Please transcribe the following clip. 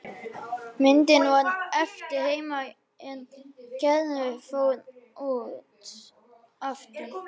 Myndin varð eftir heima er Gerður fór út aftur.